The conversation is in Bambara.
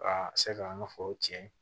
Ka se k'an ka foro tiɲɛ